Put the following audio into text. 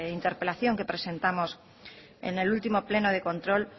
interpelación que presentamos en el último pleno de control